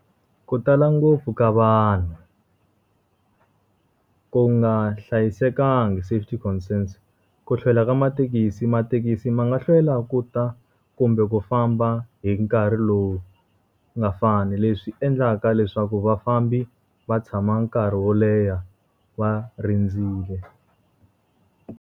Ku tala ngopfu ka vanhu ku nga hlayisekangi safety concerns, ku hlwela ka mathekisi. Mathekisi ma nga hlwela ku ta kumbe ku famba hi nkarhi lowu nga fani, leswi endlaka leswaku vafambi va tshama nkarhi wo leha va rindzile.